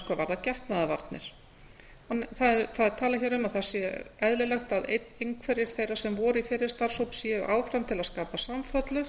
hvað varðar getnaðarvarnir það er talað hér um að það sé eðlilegt að einn sem voru í fyrri starfshóp séu áfram til að skapa samfellu